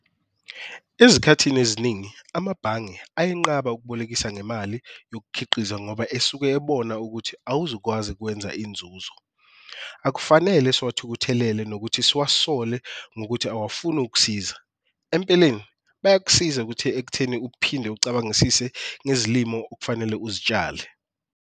Izikhathini eziningi, amabhange ayenqaba ukubolekisa ngemali yokukhiqiza ngoba esuka ebona ukuthi awuzukwazi ukwenza inzuzo. Akufanele siwathukuthelele nokuthi siwasole ngokuthi awafuni ukukusiza - empeleni bayakusiza ekutheni uphinde ucabangisise ngezilimo okufanele uzitshale.